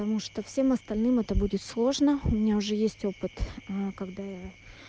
потому что всем остальным это будет сложно у меня уже есть опыт когда я